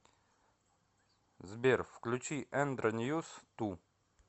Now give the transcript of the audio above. сбер включи эндро ньюс ту